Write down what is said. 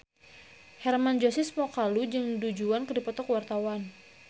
Hermann Josis Mokalu jeung Du Juan keur dipoto ku wartawan